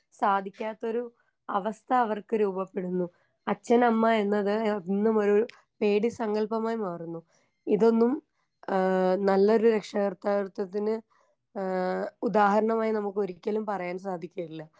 സാധിക്കാത്തൊരു അവസ്ഥ അവർക്ക് രൂപപ്പെടുന്നു അച്ഛനമ്മ എന്നത് എന്നുമൊരു പേടി സങ്കല്പമായി മാറുന്നു ഇതൊന്നും ആ നല്ലൊരു രക്ഷാകർത്തകത്വത്തിന് ഏ ഉദാഹരണമായി നമുക്കൊരിക്കലും പറയാൻ സാധിക്കില്ല.